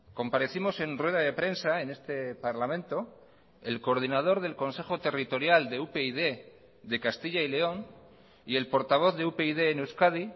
comparecimos en rueda de prensa en este parlamento el coordinador del consejo territorial de upyd de castilla y león y el portavoz de upyd en euskadi